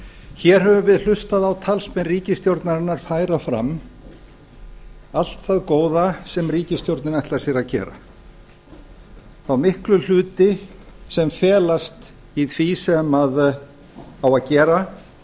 hér höfum við hlustað á talsmenn ríkisstjórnarinnar færa fram allt það góða sem ríkisstjórnin ætlar sér að gera þá miklu hluti sem felast í því sem á að gera